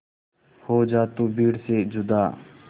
हो जा तू भीड़ से जुदा